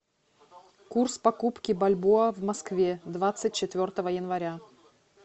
курс покупки бальбоа в москве двадцать четвертого января